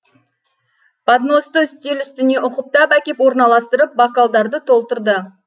подносты үстел үстіне ұқыптап әкеп орналастырып бокалдарды толтырды